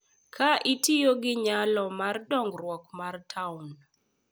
Ka itiyo gi nyalo mar dongruok mar taon